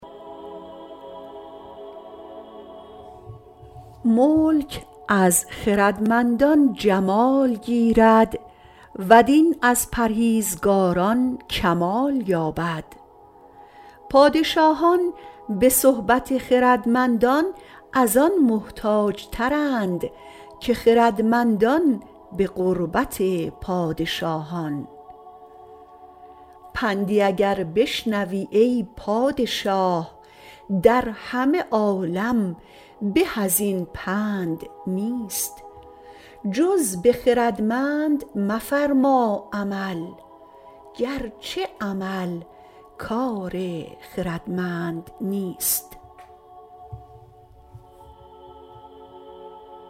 ملک از خردمندان جمال گیرد و دین از پرهیزگاران کمال یابد پادشاهان به صحبت خردمندان از آن محتاج ترند که خردمندان به قربت پادشاهان پندی اگر بشنوی ای پادشاه در همه عالم به از این پند نیست جز به خردمند مفرما عمل گرچه عمل کار خردمند نیست